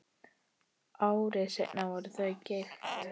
Ári seinna voru þau gift.